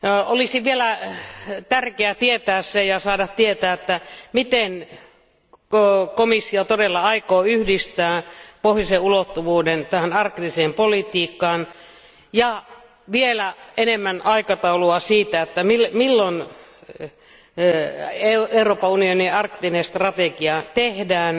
Olisi vielä tärkeää saada tietää, miten komissio todella aikoo yhdistää Pohjoisen ulottuvuuden tähän arktiseen politiikkaan, ja vielä enemmän aikataulua siitä, milloin Euroopan unionin arktinen strategia tehdään.